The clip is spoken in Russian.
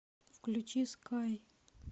включи скай